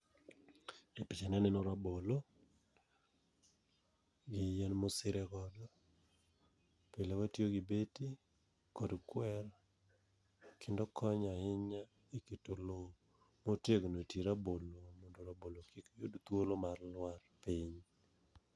E picha ni aneno rabolo, gi yien mosire godo. Pile watiyo gi beti kod kwer, kendo konyo ahinya e keto lo motegno e tie rabolo mondo rabolo kik yud thuolo mar lwar piny.